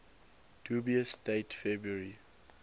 dubious date february